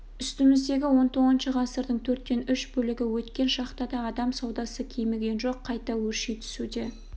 үстіміздегі он тоғызыншы ғасырдың төрттен үш бөлігі өткен шақта да адам саудасы кеміген жоқ қайта өрши түсуде